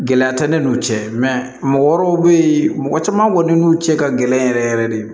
Gɛlɛya tɛ ne n'u cɛ mɔgɔ wɛrɛw bɛ yen mɔgɔ caman kɔni n'u cɛ ka gɛlɛn yɛrɛ yɛrɛ de